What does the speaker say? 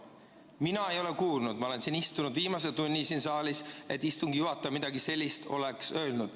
Mina ei ole seda kuulnud, kuigi ma olen istunud viimase tunni siin saalis, et istungi juhataja midagi sellist oleks öelnud.